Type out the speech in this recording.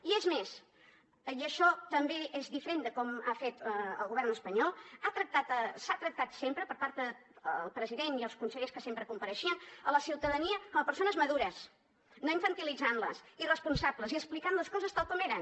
i és més i això també és diferent de com ho ha fet el govern espanyol s’ha tractat sempre per part del president i els consellers que sempre compareixien la ciutadania com a persones madures no infantilitzant les i responsables i explicant les coses tal com eren